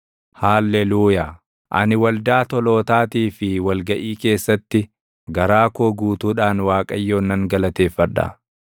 Haalleluuyaa. Ani waldaa tolootaatii fi wal gaʼii keessatti, garaa koo guutuudhaan Waaqayyoon nan galateeffadha.